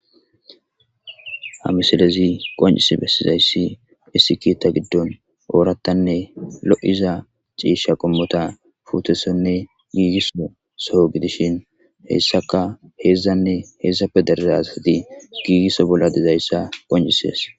ha misilezi qoncis bessizayssi issi kiitta giddon oorattanne lo7iza ciisha qommota putesonne giigisso soho gidishin hessaka heedzdzanne heedsappe derezasati giigisso bolla dezayssa qoncisees